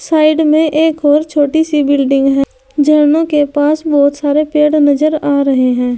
Side में एक और छोटी सी बिल्डिंग है झरनों के पास बहुत सारे पेड़ नजर आ रहे हैं।